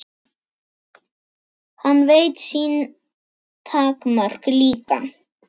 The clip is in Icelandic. Hann veit sín takmörk líka.